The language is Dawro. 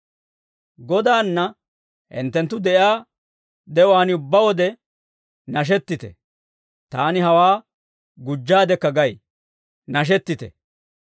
Godaanna hinttenttu de'iyaa de'uwaan ubbaa wode nashettite; taani hawaa gujjaadekka gay; nashettite.